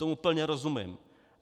Tomu plně rozumím.